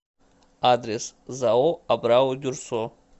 адрес зао абрау дюрсо